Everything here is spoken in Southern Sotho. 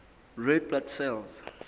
red blood cells